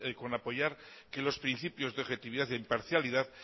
con apoyar que los principios de objetividad e imparcialidad